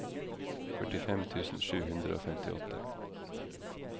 førtifem tusen sju hundre og femtiåtte